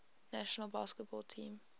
national basketball team